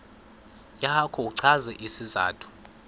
yakho uchaze isizathu